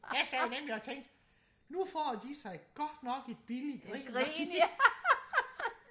jeg sad nemlig og tænkte nu får de sig godt nok et billigt grin